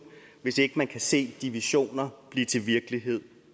hvis ikke man også kan se de visioner blive til virkelighed